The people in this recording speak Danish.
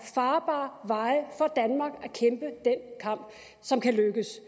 farbare veje for danmark som kan lykkes